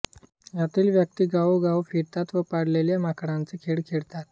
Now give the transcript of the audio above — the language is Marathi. यातील व्यक्ति गावोगाव फिरतात व पाळलेल्या माकडाचे खेळ करतात